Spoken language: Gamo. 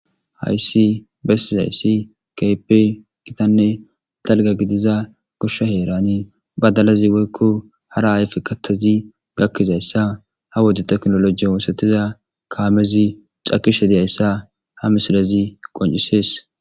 hayssi bessi hayssi kape gitanne dalga gidiza goshsha heerane badalazi woykko hara ayfekattazi gakkizayssa ha wodi teknoloji oosetiza kaamezi cakishe diyayssa ha misilazi qoncisees